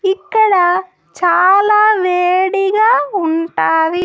ఇక్కడ చాలా వేడిగా ఉంటావి.